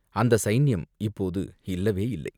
அந்தச் சைன்யம் இப்போது இல்லவே இல்லை!